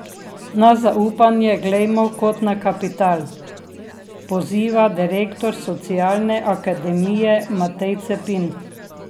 Na zaupanje glejmo kot na kapital, poziva direktor Socialne akademije Matej Cepin.